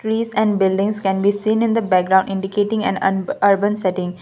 trees and buildings can be seen in the background indicating an urb urban setting.